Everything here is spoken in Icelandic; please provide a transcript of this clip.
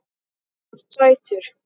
Þú ert sætur!